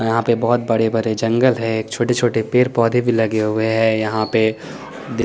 यहां पे बहुत बड़े बरे जंगल है एक छोटे छोटे पेड़ पौधे भी लगे हुए है यहां पे देख--